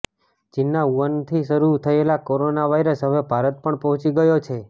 ચીનના વુહાનથી શરૂ થયેલો કોરોના વાઈરસ હવે ભારત પણ પહોંચી ગયો છે